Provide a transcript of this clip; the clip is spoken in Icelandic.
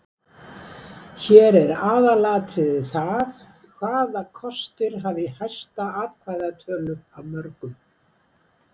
Hér er aðalatriðið það hvaða valkostur hafi hæsta atkvæðatölu af mörgum.